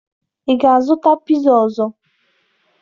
Ị ga-azụta piza ọzọ?